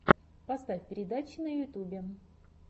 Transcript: поставь передачи на ютюбе